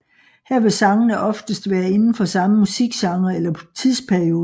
Her vil sangene oftest være inde for samme musikgenre eller tidsperiode